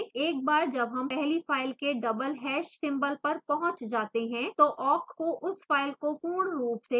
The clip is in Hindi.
एक बार जब hash पहली file के double hash ## symbol पर पहुँच जाते हैं तो awk को उस file को पूर्ण रूप से processing करना बंद कर देना चाहिए